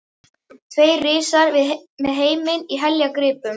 Tveir risar með heiminn í heljargreipum.